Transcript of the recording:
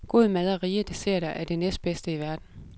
God mad og rige desserter er det næstbedste i verden.